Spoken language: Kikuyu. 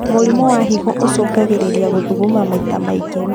Mũrimũ wa higo ũcũngagĩrĩrĩa gũthuguma maita maingĩ